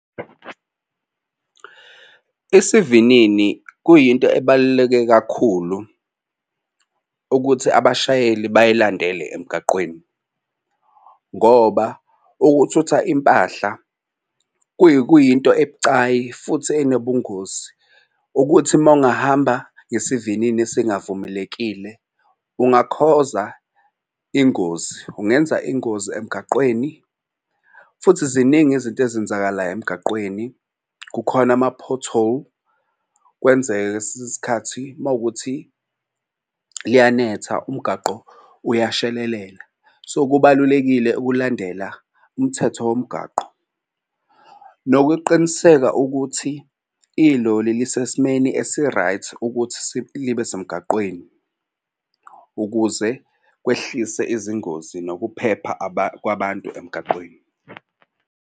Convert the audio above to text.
Isivinini kuyinto ebaluleke kakhulu ukuthi abashayeli bayilandele emgaqweni ngoba ukuthutha impahla kuyinto ebucayi futhi enobungozi. Ukuthi uma ungahamba ngesivinini esingavumelekile ungakhoza ingozi ungenza ingozi emgaqweni futhi ziningi izinto ezenzakalayo emgaqweni kukhona ama-pothole. Kwenzeka-ke esinye isikhathi uma kuwukuthi liyanetha umgaqo uyashelelela, so kubalulekile ukulandela umthetho womgwaqo. Nokuqiniseka ukuthi iloli lisesimeni esi-right ukuthi libe semgaqweni ukuze kwehlise izingozi nokuphepha kwabantu emgaqweni.